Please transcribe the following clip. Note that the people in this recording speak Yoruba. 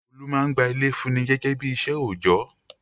Olú máa ń gba ilé fúnni gẹ́gẹ́ bí iṣẹ́ òjọ́.